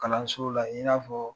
Kalanso la i n'a fɔ